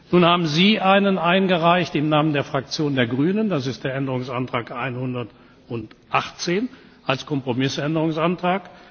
Nun haben Sie einen eingereicht im Namen der Fraktion der Grünen, das ist der Änderungsantrag 118 als Kompromissänderungsantrag.